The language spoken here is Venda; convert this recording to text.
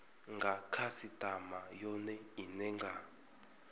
nga khasitama yone ine nga